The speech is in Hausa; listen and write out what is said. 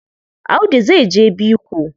Audu zai je biko.